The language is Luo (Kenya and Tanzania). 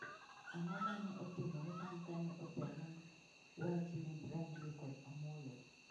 Ang'o ma ne otimore bang ' kane osehang wach ne Brandly kod Amollo?